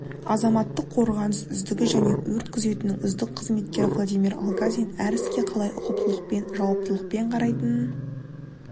азаматтық қорғаныс үздігі және өрт күзетінің үздік қызметкері владимир алгазин әр іске қалай ұқыптылықпен жауаптылықпен қарайтынын